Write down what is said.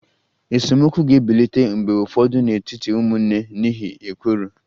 Esemokwu ga-ebilite mgbe ụfọdụ n'etiti ụmụnne n'ihi ekworo